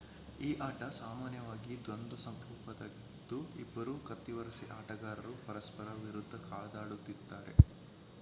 ಈ ಆಟ ಸಾಮಾನ್ಯವಾಗಿ ದ್ವಂದ್ವ ಸ್ವರೂಪದ್ದಾಗಿದ್ದು ಇಬ್ಬರು ಕತ್ತಿವರಸೆಯ ಆಟಗಾರರು ಪರಸ್ಪರರ ವಿರುಧ್ದ ಕಾದಾಡುತ್ತಾರೆ